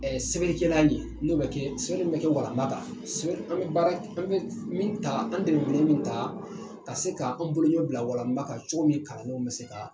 Ɛɛ sɛbɛnkɛla ni n'o bɛ kɛ sɛbɛn min bɛ kɛ u kan ka d'a kan sɛbɛ an be baara an be min ta an delilen min ta ka se k'an bolo ɲɔ bila walan kan cogo min kalandenw be se ka